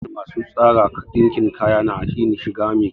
Mafiya yawan masu tsara ɗinkin kaya na yin shiga me kyau